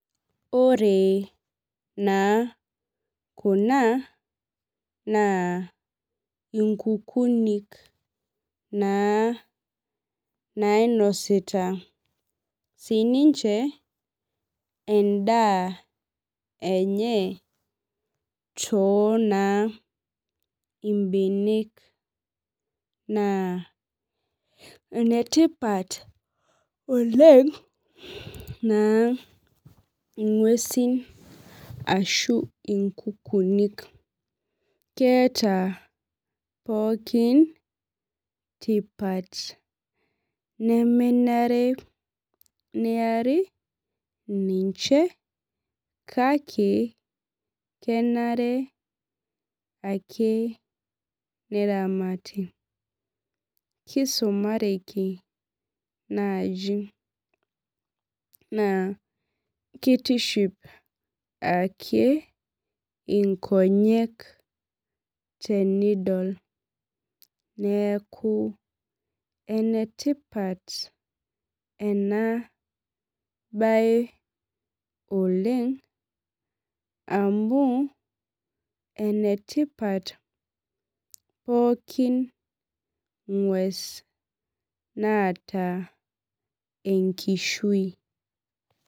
Ore naa kuna, naa inkukunik naa nainosita sininche endaa enye tonaa ibenek. Naa enetipat oleng naa ing'uesin ashu inkukuunik. Keeta pookin tipat. Nemenare niari ninche, kake kenare ake neramati. Kisumareki naaji. Naa kitiship ake inkonyek tenidol. Neeku enetipat enabae oleng, amu enetipat pookin ng'ues naata enkishui.